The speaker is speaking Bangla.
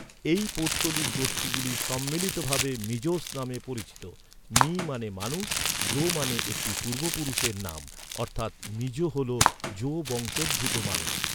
এই পৌত্তলিক গোষ্ঠীগুলি সম্মিলিতভাবে মিজোস নামে পরিচিত, মি মানে মানুষ, জো মানে একটি পূর্বপুরুষের নাম, অর্থাৎ মিজো হল জো বংশোদ্ভূত মানুষ।